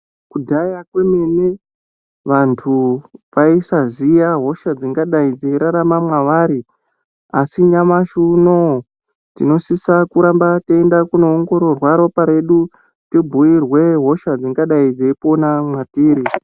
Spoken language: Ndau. Kudhara kwemene vantu waisaziya hosha dzingadai dzichirarama mawari asi nyamashi unou tinosiswa kuramba tienoongororwa ropa redu tibhuirwe hosha dzingadai dzeipona matiri.